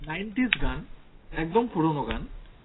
nineties গান, একদম পুরনো গান